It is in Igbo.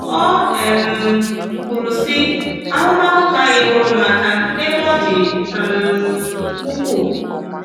O um kwuru sị,“ Ahụmahụ ha enyeworo m aka n'ebe ọ dị um ukwuu.